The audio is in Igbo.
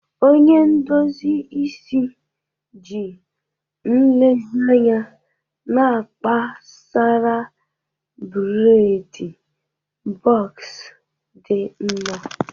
Onye ndozi isi ji nlezianya na-akpa Sara bredi bọks dị mma.